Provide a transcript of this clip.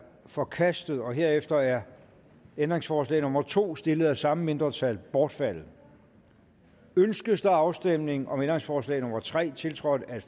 forkastet herefter er ændringsforslag nummer to stillet af samme mindretal bortfaldet ønskes afstemning om ændringsforslag nummer tre tiltrådt af